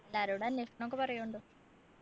എല്ലാരോടും അന്വേഷണൊക്കെ പറയു ണ്ടോ